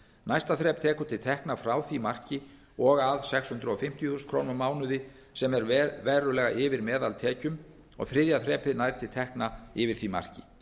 næsta þrep tekur til tekna frá því marki og að sex hundruð fimmtíu þúsund krónur á mánuði sem er verulega yfir meðaltekjum og þriðja þrepið nær til tekna yfir því marki